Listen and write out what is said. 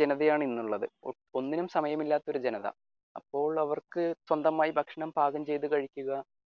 ജനതയാണ് ഇന്നുള്ളത് ഒന്നിനും സമയമില്ലാത്ത ഒരു ജനത അപ്പോൾ അവർക്ക് സ്വന്തമായി ഭക്ഷണം പാകം ചെയ്തു കഴിക്കുക